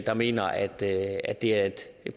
der mener at det at det er et